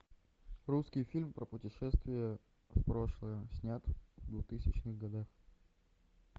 русский фильм про путешествие в прошлое снят в двухтысячных годах